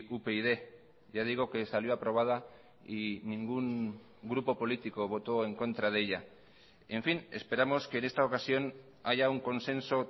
upyd ya digo que salió aprobada y ningún grupo político votó en contra de ella en fin esperamos que en esta ocasión haya un consenso